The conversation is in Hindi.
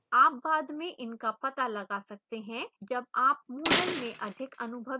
आप बाद में इनका पता लगा सकते हैं जब आप moodle में अधिक अनुभवी होते हैं